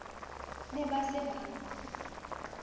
ne ba se ba mo